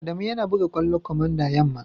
Adamu yana buga kwallo komanda yamma.